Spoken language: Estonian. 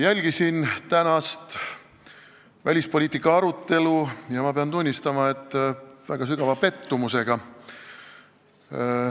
Jälgisin tänast välispoliitika arutelu ja pean tunnistama, et tundsin väga sügavat pettumust.